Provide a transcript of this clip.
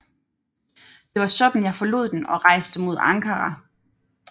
Det var sådan jeg forlod den og rejste mod Ankara